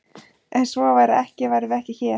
Ef svo væri ekki værum við ekki hér!